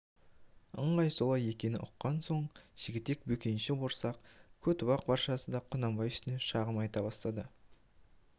ыңғай солай екенін ұққан соң жігітек бөкенші борсақ көтібақ баршасы да құнанбай үстінен шағым айта бастады